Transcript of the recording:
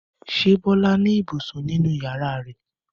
Ṣé Bọ́lá ní ibùsùn nínú ìyàrá rẹ̀?